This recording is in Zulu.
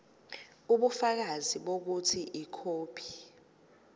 ubufakazi bokuthi ikhophi